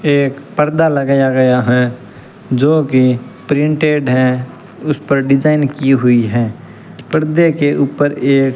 एक पर्दा लगाया गया है जोकि प्रिंटेड है उस पर डिजाइन की हुई है पर्दे के ऊपर एक --